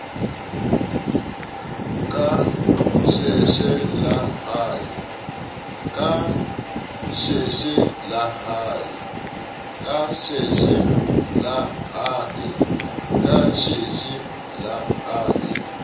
ka sheshe le ha e